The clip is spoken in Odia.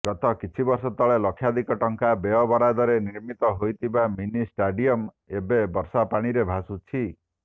ଗତ କିଛିବର୍ଷ ତଳେ ଲକ୍ଷାଧିକ ଟଙ୍କା ବ୍ୟୟବରାଦରେ ନିର୍ମିତ ହୋଇଥିବା ମିନିଷ୍ଟାଡିୟମ ଏବେ ବର୍ଷାପାଣିରେ ଭାସୁଛି